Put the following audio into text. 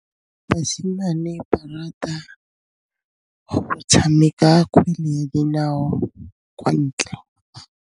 Basimane ba rata go tshameka kgwele ya dinaô kwa ntle.